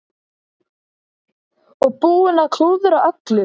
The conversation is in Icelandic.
Og búinn að klúðra öllu!